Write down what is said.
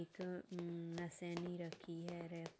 एकअम्म रखी है।